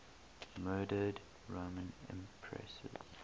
murdered roman empresses